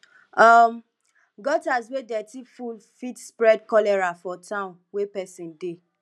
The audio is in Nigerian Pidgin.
um gutters wey dirty full fit spread cholera for town wey pesin dey